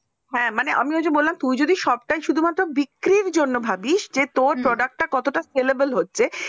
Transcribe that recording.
হ্যাঁ আমি যে বললাম তুই যদি সবটাই শুধু যদি বিক্রির জন্য ভাবিস যে তোর product sellable হচ্ছে